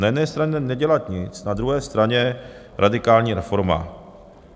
Na jedné straně nedělat nic, na druhé straně radikální reforma.